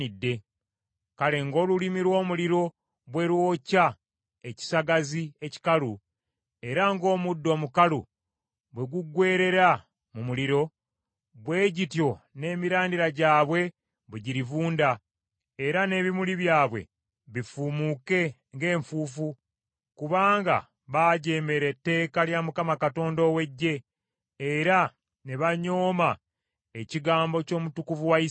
Kale ng’olulimi lw’omuliro bwe lwokya ekisagazi ekikalu, era ng’omuddo omukalu bwe guggweerera mu muliro, bwe gityo n’emirandira gyabwe bwe girivunda, era n’ebimuli byabwe bifuumuuke ng’enfuufu; kubanga baajeemera etteeka lya Mukama Katonda ow’Eggye, era ne banyooma ekigambo ky’Omutukuvu wa Isirayiri.